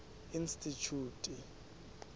institjhute